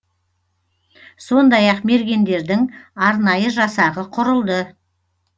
сондай ақ мергендердің арнайы жасағы құрылды